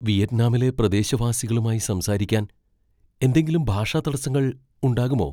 വിയറ്റ്നാമിലെ പ്രദേശവാസികളുമായി സംസാരിക്കാൻ എന്തെങ്കിലും ഭാഷാ തടസ്സങ്ങൾ ഉണ്ടാകുമോ?